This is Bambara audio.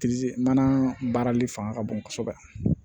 mana baarali fanga ka bon kosɛbɛ